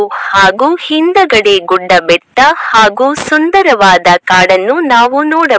ಹಾಗೂ ಹಿಂದಗಡೆ ಗುಡ್ಡ ಬೆಟ್ಟ ಹಾಗೂ ಸುಂದರವಾದ ಕಾಡನ್ನು ನಾವು ನೋಡಬಹುದು.